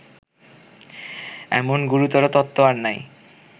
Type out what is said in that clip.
এমন গুরুতর তত্ত্ব আর নাই